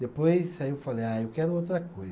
Depois, aí eu falei, ah, eu quero outra coisa.